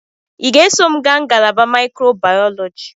Ị ga-eso m gaa ngalaba microbiology?